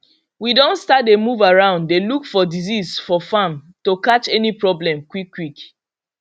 we don start dey move around dey look for disease for farm to catch any problem quickquick